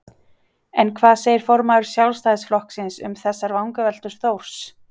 En hvað segir formaður Sjálfstæðisflokksins um þessar vangaveltur Þórs?